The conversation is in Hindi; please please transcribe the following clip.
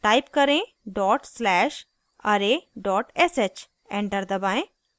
type करें dot slash array sh enter दबाएं